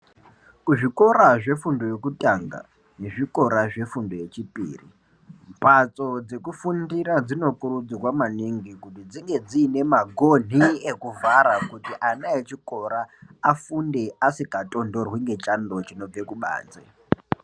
Kuzvikora zvefundo yekutanga nezvikora zvefundo yechipiri, mhatso dzekufundira dzirikurudzirwa maningi kuti dzinge dziine magonhi ekuvhara kuti ana echikora afunde asikatonhorwi ngechando chinobve kubanze.